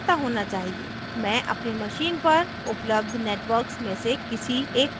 मैं अपनी machine पर उपलब्ध networks में से किसी एक को चुनूँगी